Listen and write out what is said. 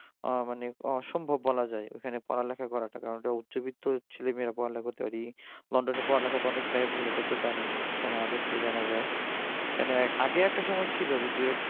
মানে অসম্ভব বলা যায় কারণ ওখানে পড়ালেখা করাটা ওখানে উচ্চবিত্ত ছেলেমেয়েরা পড়াশোনা করতে পারে পড়ালেখা অনেকটাই ব্যয়বহুল এটা তো জানেনই সেটা আগে থেকেই জানা যায় ওখানে আগে একটা সময় ছিল যে দু-একটা